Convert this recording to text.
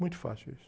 Muito fácil isso.